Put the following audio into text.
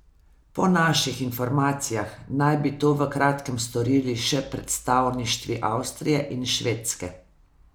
Po naših informacijah naj bi to v kratkem storili še predstavništvi Avstrije in Švedske.